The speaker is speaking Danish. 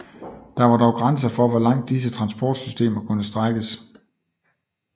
Der var dog grænser for hvor langt disse transportsystemer kunne strækkes